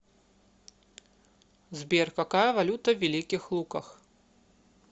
сбер какая валюта в великих луках